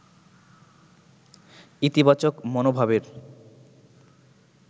ইতিবাচক মনোভাবের